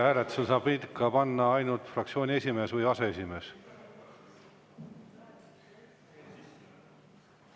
Hääletusele saab seda panna ikka ainult fraktsiooni esimees või aseesimees.